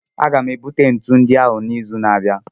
Aga m ebute ntụnụ ndị ahụ n'izu na-abịa.